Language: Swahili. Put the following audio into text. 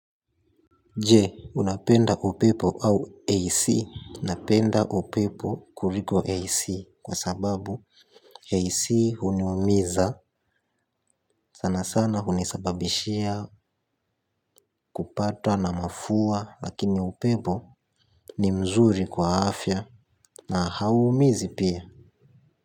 Je unapenda upepo au AC napenda upepo kuliko AC kwa sababu AC huniumiza sanasana hunisababishia kupatwa na mafua lakini upepo ni mzuri kwa afya na hauumizi pia.